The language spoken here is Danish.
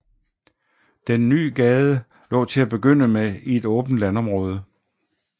Den nye gade lå til at begynde med i et åbent landområde